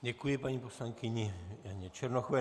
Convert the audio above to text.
Děkuji paní poslankyni Janě Černochové.